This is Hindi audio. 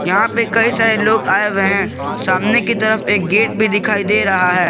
यहाँ पे कई सारे लोग आए हुए हैं सामने की तरफ एक गेट भी दिखाई दे रहा है।